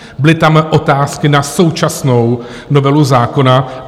Byly tam otázky na současnou novelu zákona.